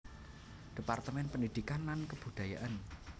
Departemen Pendidikan dan Kebudayaan